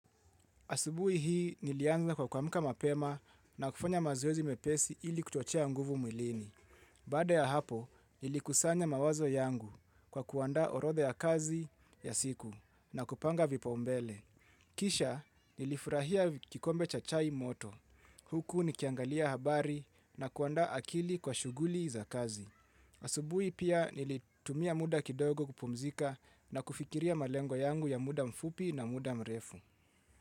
Asubuhi hii nilianza kwa kuamka mapema na kufanya mazoezi mepesi ili kuchochea nguvu mwilini. Baada ya hapo, nilikusanya mawazo yangu kwa kuandaa orotha ya kazi ya siku na kupanga vipaumbele. Kisha nilifurahia kikombe cha chai moto. Huku nikiangalia habari na kuanda akili kwa shuguli za kazi. Asubuhi pia nilitumia muda kidogo kupumzika na kufikiria malengo yangu ya muda mfupi na muda mrefu.